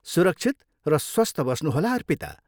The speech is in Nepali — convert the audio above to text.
सुरक्षित र स्वस्थ बस्नुहोला अर्पिता।